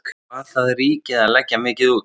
Hvað það ríkið að leggja mikið út?